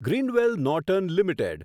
Grindwell Norton limited